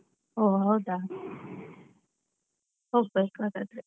ಓ ಹೌದಾ? ಹೋಗ್ಬೇಕು ಹಾಗಾದ್ರೆ.